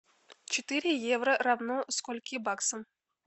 четыре евро равно скольки баксам